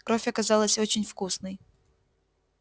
кровь оказалась очень вкусной